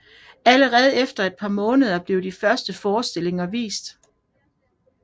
Allerede efter et par måneder blev de første forestillinger vist